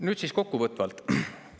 Nüüd kokkuvõtvalt.